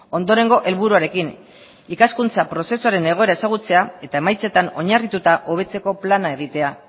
ondorengo helburuarekin ikaskuntza prozesuaren egoera ezagutzea eta emaitzetan oinarrituta hobetzeko plana egitea